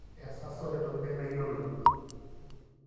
esaso tentoki nemeyioloi.